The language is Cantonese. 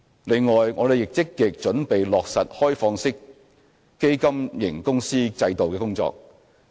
另外，我們亦正積極準備落實開放式基金型公司制度的工作。